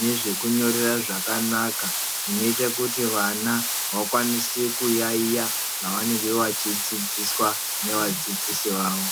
nezvekunyorera zvakanaka zvinoita kuti vana vakwanise kuyayiya zvavanenge vachidzidziswa nevadzidzisi vawo.